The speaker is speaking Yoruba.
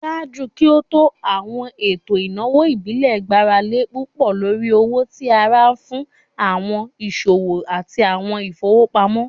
Ṣaaju ki o to, awọn eto inawo ibile gbarale pupọ lori owo ti ara fun awọn iṣowo ati awọn ifowopamọ.